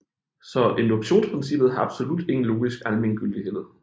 Så induktionsprincippet har absolut ingen logisk almengyldighed